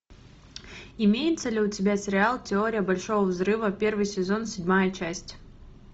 имеется ли у тебя сериал теория большого взрыва первый сезон седьмая часть